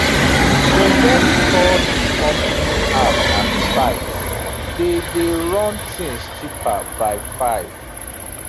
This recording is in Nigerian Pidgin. forget store di company app and site dey dey run things cheaper by 5